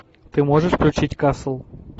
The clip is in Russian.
ты можешь включить касл